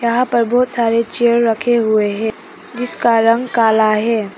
यहां पर बहुत सारे चेयर रखे हुए हैं जिसका रंग काला है।